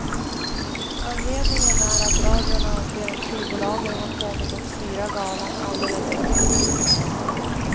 Anledningen är att radion anser att skivbolagen har kommit att styra galan alldeles för mycket.